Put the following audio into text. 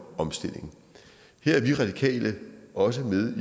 omstilling her er vi radikale også med